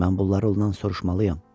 Mən bunları ondan soruşmalıyam.